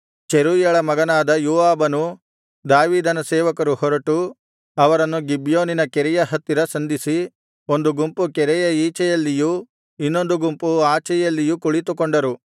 ಚೆರೂಯಳ ಮಗನಾದ ಯೋವಾಬನೂ ದಾವೀದನ ಸೇವಕರು ಹೊರಟು ಅವರನ್ನು ಗಿಬ್ಯೋನಿನ ಕೆರೆಯ ಹತ್ತಿರ ಸಂಧಿಸಿ ಒಂದು ಗುಂಪು ಕೆರೆಯ ಈಚೆಯಲ್ಲಿಯೂ ಇನ್ನೊಂದು ಗುಂಪು ಆಚೆಯಲ್ಲಿಯೂ ಕುಳಿತುಕೊಂಡರು